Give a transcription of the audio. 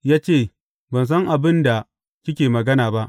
Ya ce, Ban san abin da kike magana ba.